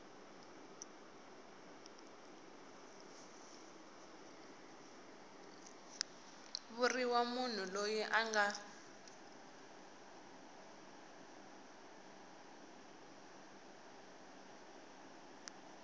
vuriwa munhu loyi a nga